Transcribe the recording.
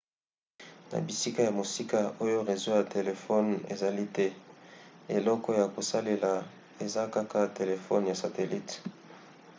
na bisika ya mosika oyo rezo ya telefone ezali te eloko ya kosalela eza kaka telefone ya satelite